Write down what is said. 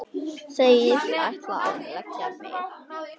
Segist ætla að leggja mig.